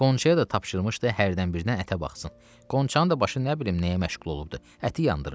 Qonçaya da tapşırmışdı hərdən bir də ətə baxsın, Qonçanın da başı nə bilim nəyə məşğul olubdur, əti yandırıb.